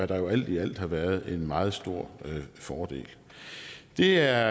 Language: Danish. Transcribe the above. der jo alt i alt har været en meget stor fordel det er